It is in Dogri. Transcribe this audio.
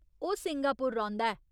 ओह् सिंगापुर रौंह्दा ऐ।